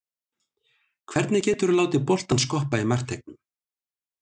Hvernig getur þú látið boltann skoppa í markteignum?